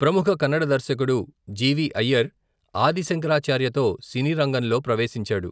ప్రముఖ కన్నడ దర్శకుడు జీ.వీ.అయ్యర్, ఆది శంకరాచార్యతో సినీ రంగంలో ప్రవేశించాడు.